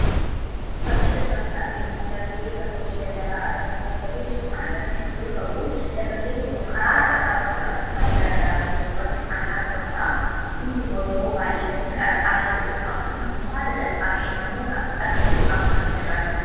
Fakkiin as irratti arginu kun dargaggeessa hojii daldalaa irratti boba'ee jiru kan agarsiisu yoo ta'u, dargaggeessi kunis karaa irra dhaabachuudhaan uffata garaa garaa gurguruu irratti kan argamadhu. Kunis immoo yeroo baay'ee gatii qaraxaa hir'isuuf, akkasumas illee haala salphaa ta'een namoota argachuuf isa gargaara